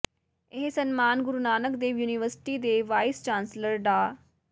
ਇਹ ਸਨਮਾਨ ਗੁਰੂ ਨਾਨਕ ਦੇਵ ਯੂਨੀਵਰਸਿਟੀ ਦੇ ਵਾਈਸ ਚਾਂਸਲਰ ਡਾ